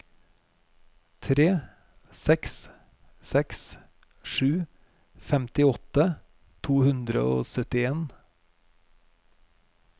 tre seks seks sju femtiåtte to hundre og syttien